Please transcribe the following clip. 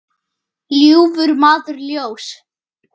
ljúfur maður ljóss.